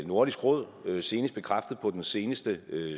nordisk råd senest bekræftet på den seneste